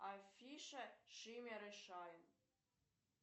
афиша шиммер и шайн